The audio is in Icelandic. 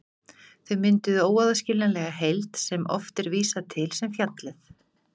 Þau mynduðu óaðskiljanlega heild sem oft er vísað til sem fjallið.